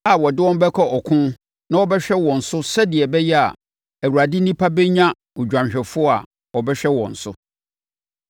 a ɔde wɔn bɛkɔ ɔko na ɔbɛhwɛ wɔn so sɛdeɛ ɛbɛyɛ a Awurade nnipa bɛnya odwanhwɛfoɔ a ɔbɛhwɛ wɔn so.”